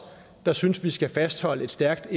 der synes vi skal fastholde et stærkt